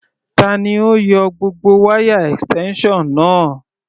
Tani ó yọ gbogbo wáyà extension náà?